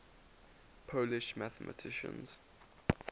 polish mathematicians